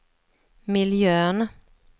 miljön